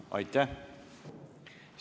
Aitäh!